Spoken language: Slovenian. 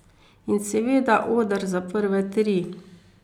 In seveda, oder za prve tri.